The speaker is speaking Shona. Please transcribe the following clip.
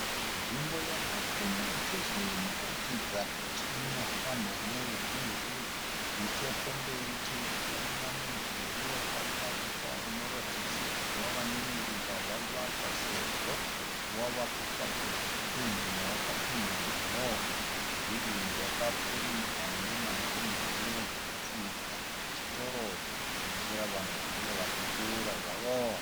Nzvimbo yakapfumba chose inoratidza kuti inofambwa neveruzhinji. Nechekumberi tirikuona mudhuri wakavakwa unoratidza kuti wave nenguva wavakwa sezvo wavakukwatuka pendi newakapendwa nawo. Mudhuri uyu wakapfurirwa nemazenge uye tinofungidzira kuti chitoro chekutengesera vanhu vanenge vachipfuura zvavo.